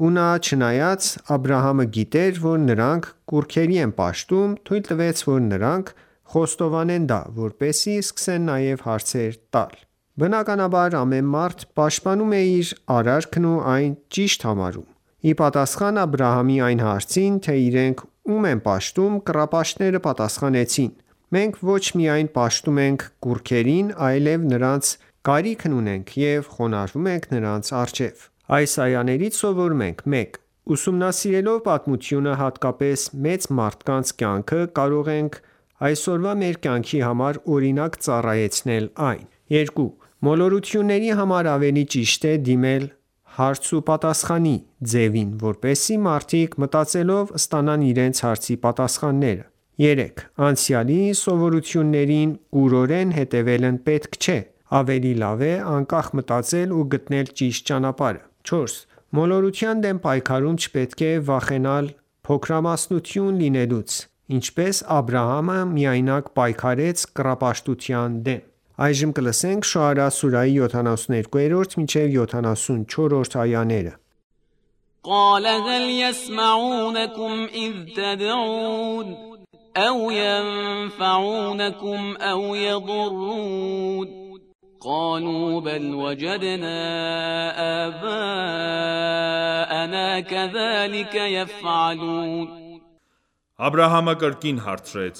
Ու չնայած Աբրահամը գիտեր, որ նրանք կուռքերի են պաշտում, թույլ տվեց, որ նրանք խոստովանեն դա, որպեսզի սկսեն նաև հարցեր տալ: Բնականաբար, ամեն մարդ պաշտպանում է իր արարքն ու այն ճիշտ համարում: Ի պատասխան Աբրահամի այն հարցին, թե իրենք ում են պաշտում, կռապաշտները պատասխանեցին. «Մենք ոչ միայն պաշտում ենք կուռքերին, այլև նրանց կարիքն ունենք և խոնարհվում ենք նրանց առջև»: Այս այաներից սովորում ենք․ 1. Ուսումնասիրելով պատմությունը, հատկապես՝ մեծ մարդկանց կյանքը, կարող ենք այսօրվա մեր կյանքի համար օրինակ ծառայեցնել այն։ 2. Մոլորությունների համար ավելի ճիշտ է դիմել հարց ու պատասխանի ձևին, որպեսզի մարդիկ, մտածելով, ստանան իրենց հարցերի պատասխանները։ 3. Անցյալի սովորություններին կուրորեն հետևել պետք չէ: Ավելի լավ է անկախ մտածել ու գտնել ճիշտ ճանապարհը։ 4. Մոլորության դեմ պայքարում չպետք է վախենալ փոքրամասնություն լինելուց, ինչպես Աբրահամը միայնակ պայքարեց կռապաշտության դեմ։ Շոարա սուրահի 72-74-րդ այաներ قَالَ هَلْ یَسْمَعُونَکُمْ إِذْ تَدْعُونَ أَوْ یَنفَعُونَکُمْ أَوْ یَضُرُّونَ قَالُوا بَلْ وَجَدْنَا آبَاءنَا کَذَلِکَ یَفْعَلُونَ Աբրահամը կրկին հարցրեց.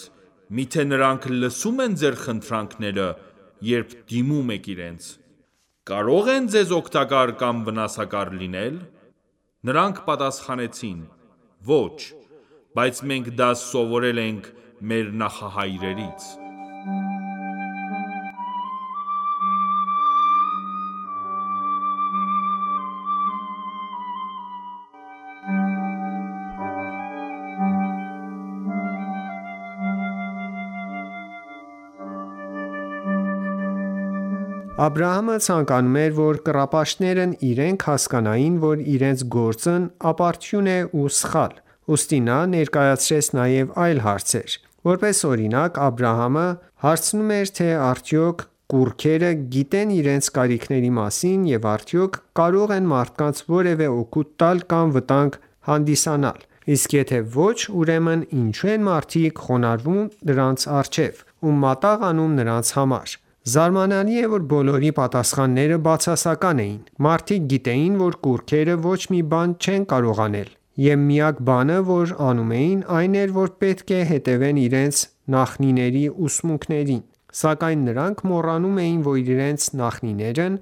միթե նրանք լսում են ձեր խնդրանքները, երբ դիմում եք իրենց: Կարո՞ղ են ձեզ օգտակար կամ վնասակար լինել: Նրանք պատասխանեցին. Ոչ, բայց մենք դա սովորել ենք մեր նախահայրերից: Աբրահամը ցանկանում էր, որ կռապաշտներն իրենք հասկանային, որ իրենց գործն ապարդյուն է ու սխալ: Ուստի նա ներկայացրեց նաև այլ հարցեր: Որպես օրինակ, Աբրահամը հարցնում էր թե արդյոք կուռքերը գիտե՞ն իրենց կարիքների մասին և արդյոք կարո՞ղ են մարդկանց որևէ օգուտ տալ կամ վտանգ հանդիսանալ: Իսկ եթե ոչ, ուրեմն ինչո՞ւ են մարդիկ խոնարհվում դրանց առջև ու մատաղ անում նրանց համար: Զարմանալի է, որ բոլորի պատասխանները բացասական էին: Մարդիկ գիտեին, որ կուռքերը ոչ մի բան չեն կարող անել: Եվ միակ բանը որ ասում էին, այն էր, որ պետք է հետևեն իրենց նախնիների ուսմունքներին: Սակայն նրանք մոռանում էին, որ իրենց նախնիներն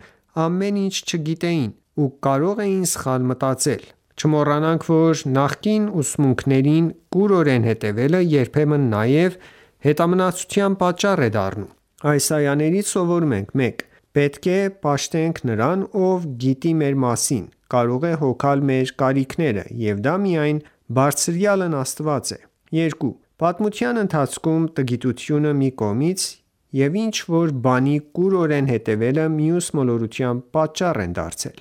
ամեն ինչ չգիտեին, ու կարող էին սխալ մտածել: Չմոռանանք, որ նախկին ուսմունքներին կուրորեն հետևելը երբեմն նաև հետամնացության պատճառ է դառնում: Այս այաներից սովորում ենք․ 1. Պետք է պաշտենք նրան, ով գիտի մեր մասին, կարող է հոգալ մեր կարիքները: Եվ դա միայն Բարձրյալն Աստված է։ 2. Պատմության ընթացքում, տգիտությունը մի կողմից և ինչ որ բանի կուրորեն հետևելը մյուս՝ մոլորության պատճառ են դարձել։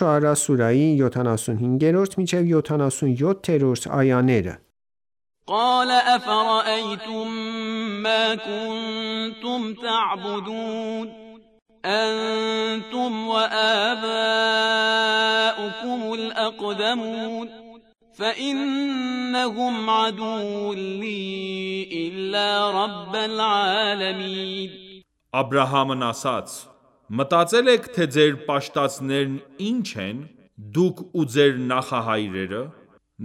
Շոարա սուրահի 75-77-րդ այաներ قَالَ أَفَرَأَیْتُم مَّا کُنتُمْ تَعْبُدُونَ أَنتُمْ وَآبَاؤُکُمُ الْأَقْدَمُونَ فَإِنَّهُمْ عَدُوٌّ لِّی إِلَّا رَبَّ الْعَالَمِینَ (Աբրահամն) ասաց. մտածել եք թե ձեր պաշտածներն ի՞նչ են: Դուք ու ձեր նախահայրե՞րը: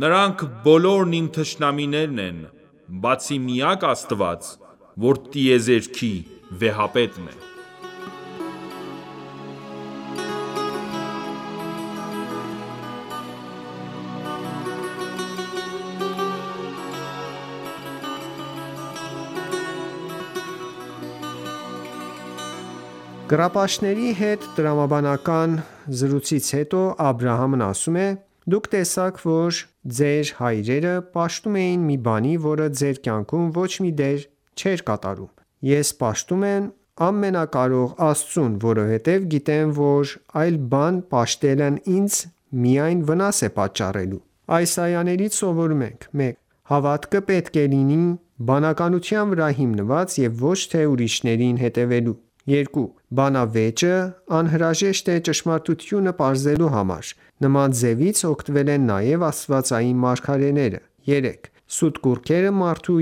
Նրանք բոլորն իմ թշնամիներն են, բացի Միակ Աստված որ տիեզերքի վեհապետն է: Կռապաշտների հետ տրամաբանական զրույցից հետո, Աբրահամն ասում է. «Դուք տեսաք, որ դուք և ձեր հայրերը պաշտում էիք մի բանի, որը ձեր կյանքում ոչ մի դեր չէր կատարում: Ես պաշտում եմ ամենակարող Աստծուն, որովհետև գիտեմ, որ այլ բան պաշտելն ինձ միայն վնաս է պատճառելու» Այս այաներից սովորում ենք․ 1. Հավատքը պետք է լինի բանականության վրա հիմնված և ոչ թե ուրիշներին հետևելու։ 2. Բանավեճը անհրաժեշտ է ճշմարտությունը պարզելու համար: Նման ձևից օգտվել են նաև աստվածային մարգարեները։ 3. Սուտ կուռքերը մարդու